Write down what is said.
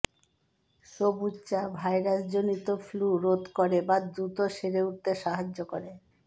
সবুজ চা ভাইরাসজনিত ফ্লু রোধ করে বা দ্রুত সেরে উঠতে সাহায্য করে